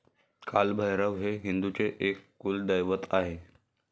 कालभैरव हे हिंदूंचे एक कुलदैवत आहे.